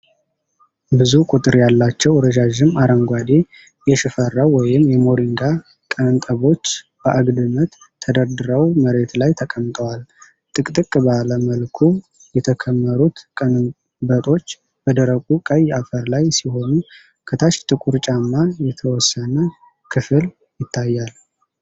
ብዙ ቁጥር ያላቸው ረዣዥም አረንጓዴ የሽፈራው ወይም የሞሪንጋ ቀንበጦች በአግድመት ተደርድረው መሬት ላይ ተቀምጠዋል። ጥቅጥቅ ባለ መልኩ የተከመሩት ቀንበጦች በደረቁ ቀይ አፈር ላይ ሲሆኑ፣ ከታች ጥቁር ጫማ የተወሰነ ክፍል ይታያል።